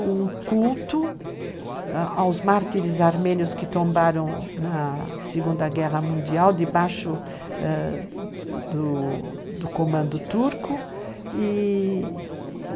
um culto aos mártires armênios que tombaram na Segunda Guerra Mundial, debaixo ãh do do comando turco i-i,